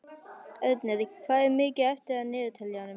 Ernir, hvað er mikið eftir af niðurteljaranum?